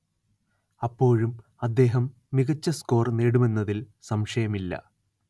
അപ്പോഴും അദ്ദേഹം മികച്ച സ്കോർ നേടുമെന്നതിൽ സംശയമില്ല